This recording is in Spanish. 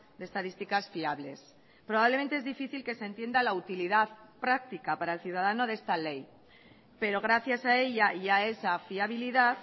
de estadísticas fiables probablemente es difícil que se entienda la utilidad práctica para el ciudadano de esta ley pero gracias a ella y a esa fiabilidad